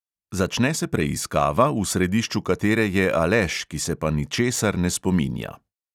Začne se preiskava, v središču katere je aleš, ki se pa ničesar ne spominja.